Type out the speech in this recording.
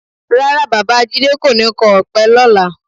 Rárá, Bàbá jídé kò ní kọ ọ̀pẹ lọ́la